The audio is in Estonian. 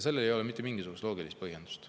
Sellel ei ole mitte mingisugust loogilist põhjendust.